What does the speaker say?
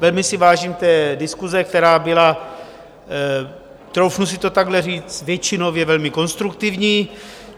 Velmi si vážím té diskuse, která byla, troufnu si to takhle říct, většinově velmi konstruktivní.